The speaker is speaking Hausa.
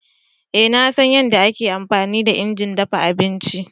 Ee na san yadda ake amfani da injin dafa abinci.